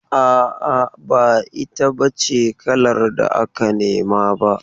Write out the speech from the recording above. A'a, ba ita b ace kalar da aka nema ba.